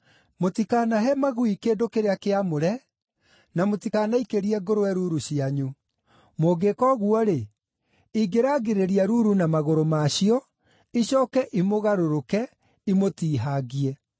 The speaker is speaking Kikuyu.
“Mũtikanahe magui kĩndũ kĩrĩa kĩamũre, na mũtikanaikĩrie ngũrwe ruru cianyu. Mũngĩĩka ũguo-rĩ, ingĩrangĩrĩria ruru na magũrũ ma cio, icooke imũgarũrũke, imũtiihangie.